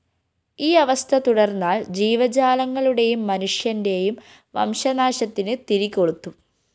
ഈ അവസ്ഥ തുടര്‍ന്നാല്‍ ജീവജാലങ്ങളുടെയും മനുഷ്യന്റെയും വംശനാശത്തിന് തിരികൊളുത്തും